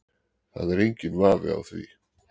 Það er enginn vafi á því